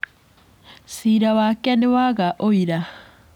Ciira wake nĩ waga ũira.